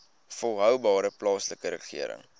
volhoubare plaaslike regering